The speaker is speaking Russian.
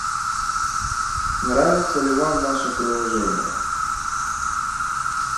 нравится ли вам наше приложение